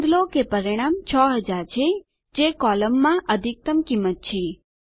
નોંધ લો કે પરિણામ 6000 છે જે કોલમમાં અધિકતમ કિંમત છે